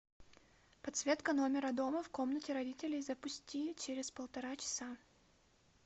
подсветка номера дома в комнате родителей запусти через полтора часа